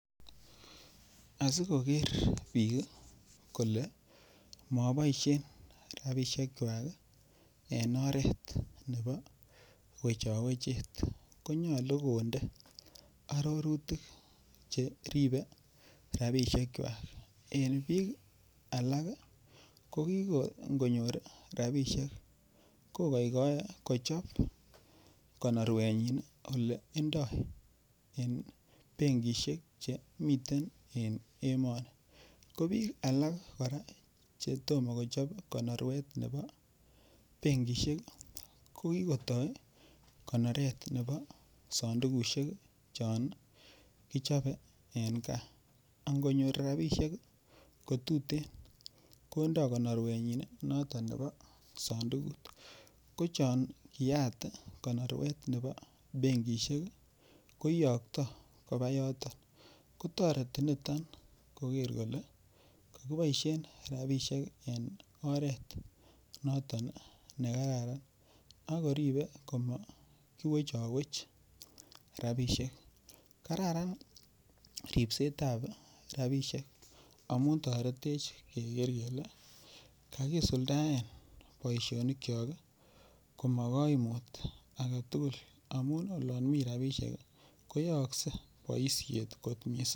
Asikoker biik kole maboishen robinishekwach en oret nebo wechowechet konyolu konde arorutik cheribei rabishekwach eng' biik alak ko king'onyor rabishek kokoikoei kochop konorwenyin ole ndoi en benkishek chemiten en emoni ko biik alak kora chetomo kochop konorwet nebo benkishek ko kikotoi konoret nebo sandukushek chon kichopei en kaa angonyor rabishek kotutin kondoi konorwenyin noto nebo sandukut ko chon kiyaat konorwet nebo benkishek ko iyoktoi koba yoton kotoreti niton koker kole kakiboishen rabishek en oret noton nekararan akoribei koma kiwechowech rabishek kararan ripsetab rabishek amun toretech keker kele kakisuldaen boishonik cho ko ma kaimut age tugul amun olon mi rabishek koyoyoskei boishet kot mising'